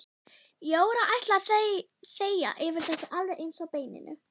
Jóra ætlaði að þegja yfir þessu alveg eins og beininu.